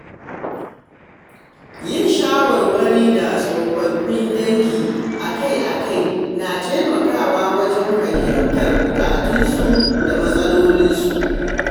Yin shawarwari da tsofaffin dangi akai-akai na taimakawa wajen fahimtar bukatunsu da matsalolinsu.